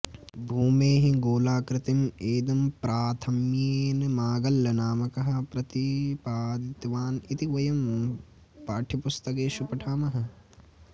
भूमेः गोलाकृतिम् ऐदम्प्राथम्येन मागल्लनामकः प्रतिपादितवान् इति वयं पाठ्यपुस्तकेषु पठामः